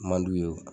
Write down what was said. Man d'u ye